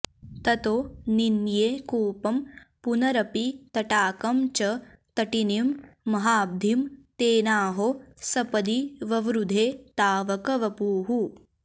ततो निन्ये कूपं पुनरपि तटाकं च तटिनीं महाब्धिं तेनाहो सपदि ववृधे तावक वपुः